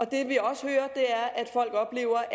det vi også hører er at folk oplever